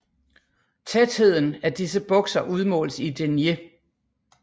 Tætheden af disse bukser udmåles i denier